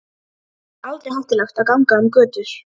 Þar er aldrei hættulegt að ganga um götur.